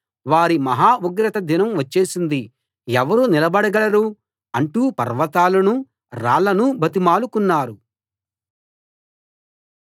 వారి మహా ఉగ్రత దినం వచ్చేసింది ఎవరు నిలబడగలరు అంటూ పర్వతాలనూ రాళ్ళనూ బతిమాలుకున్నారు